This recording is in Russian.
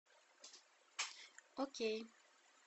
окей